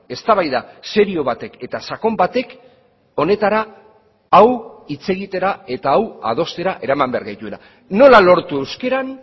eztabaida serio batek eta sakon batek honetara hau hitz egitera eta hau adostera eraman behar gaituela nola lortu euskaran